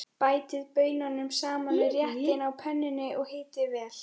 Bætið baununum saman við réttinn á pönnunni og hitið vel.